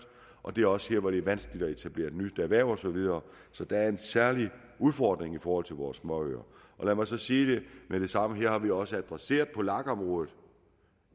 og det er også der hvor det er vanskeligt at etablere nyt erhverv og så videre så der er en særlig udfordring i forhold til vores småøer lad mig sige med det samme at det har vi også adresseret på lag området